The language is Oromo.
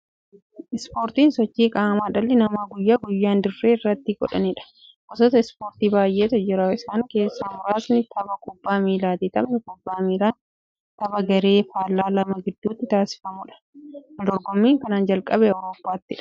Ispoortiin sochii qaamaa dhalli namaa guyyaa guyyaan dirree irratti godhaniidha. Gosoota ispoortii baay'eetu jira. Isaan keessaa muraasni tabba kubbaa miillaati. Taphni kubbaa miillaa tapha garee faallaa lama gidduutti taasifamuudha. Waldorgommiin kan jalqabe Awuroopaatti.